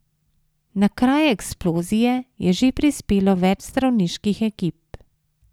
Na kraj eksplozije je že prispelo več zdravniških ekip.